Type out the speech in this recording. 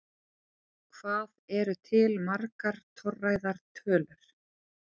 Hvað eru til margar torræðar tölur?